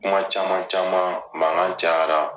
Kuma caman caman mankan cayara.